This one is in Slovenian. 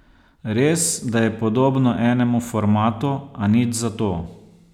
Res, da je podobno enemu formatu, a nič za to.